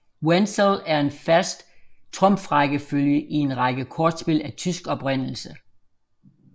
Wenzel er en fast trumfrækkefølge i en række kortspil af tysk oprindelse